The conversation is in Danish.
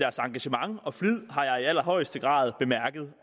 engagement og flid har jeg i allerhøjeste grad bemærket